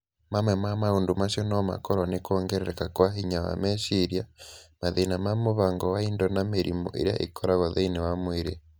Mamwe ma maũndũ macio no makorũo nĩ kwongerereka kwa hinya wa meciria, mathĩna ma mũbango wa indo na mĩrimũ ĩrĩa ĩkoragwo thĩinĩ wa mwĩrĩ.